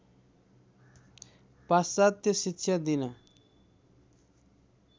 पाश्चात्य शिक्षा दिन